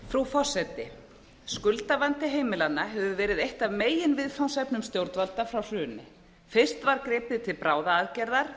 frú forseti skuldavandi heimilanna hefur verið eitt af meginviðfangsefnum stjórnvalda frá hruni fyrst var gripið til bráðaaðgerða